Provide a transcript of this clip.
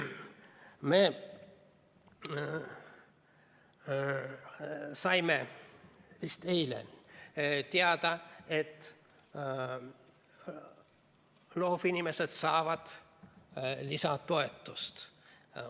Me saime vist eile teada, et loovinimesed saavad lisatoetust.